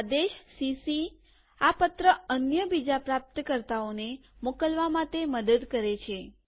આદેશ સીસી આ પત્ર અન્ય બીજા પ્રાપ્તકર્તાઓને મોકલવા માટે મદદ કરે છે